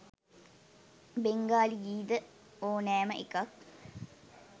බෙංගාලි ගී ද ඕනෑම එකක්